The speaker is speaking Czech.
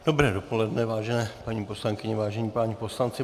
Dobré dopoledne, vážené paní poslankyně, vážení páni poslanci.